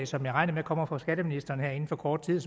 som jeg regner med kommer fra skatteministeren her inden for kort tid